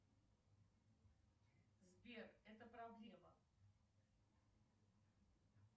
сбер это проблема